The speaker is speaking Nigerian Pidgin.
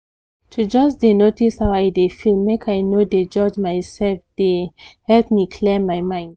to just dey notice how i dey feel make i no de judge myself dey help me clear my head